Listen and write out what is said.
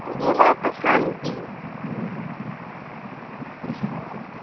গেলেও একটা শান্তি